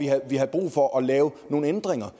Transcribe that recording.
vi havde brug for at lave nogle ændringer